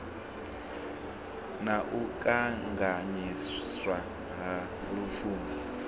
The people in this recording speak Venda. na u kanganyiswa ha lupfumo